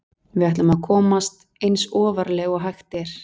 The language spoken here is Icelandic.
Við ætlum að komast eins ofarlega og hægt er.